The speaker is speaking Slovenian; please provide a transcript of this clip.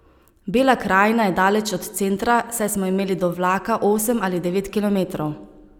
Bela krajina je daleč od centra, saj smo imeli do vlaka osem ali devet kilometrov.